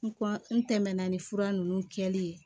N kɔ n tɛmɛna ni fura ninnu kɛli ye